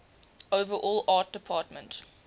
overall art department